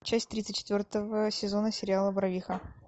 часть тридцать четвертого сезона сериала барвиха